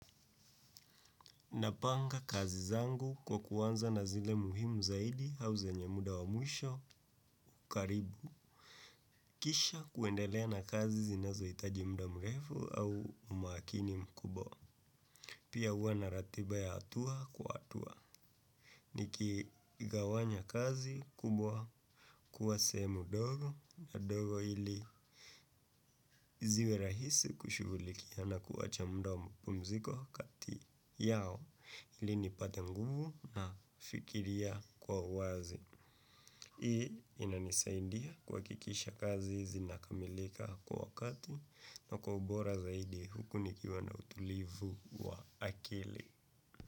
Napanga kazi zangu kwa kuanza na zile muhimu zaidi au zenye muda wa mwisho karibu. Kisha kuendelea na kazi zinazohitaji muda mrefu au umakini mkubwa. Pia huwa na ratiba ya hatua kwa hatua. Nikigawanya kazi kubwa kuwa sehemu ndogo na ndogo ili ziwe rahisi kushughulikia na kuacha muda wa mapumziko kati yao ili nipate nguvu na kufikiria kwa uwazi. Hii inanisaidia kuhakikisha kazi zinakamilika kwa wakati na kwa ubora zaidi huku nikiwa na utulivu wa akili.